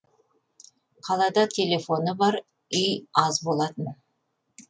қалада телефоны бар үй аз болатын